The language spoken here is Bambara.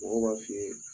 Mɔgɔw b'a f'i ye